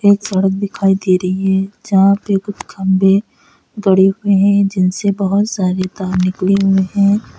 सड़क दिखाई दे रही है जहां पे कुछ खंभे गढ़े हुए हैं जिनसे बोहोत सारे तार निकले हुए हैं।